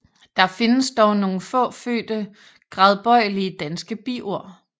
Der findes dog nogle få fødte gradbøjelige danske biord